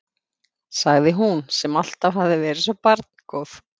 sagði hún, sem alltaf hafði verið svo barngóð.